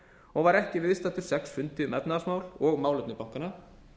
og var ekki viðstaddur sex fundi um efnahagsmál og málefni bankanna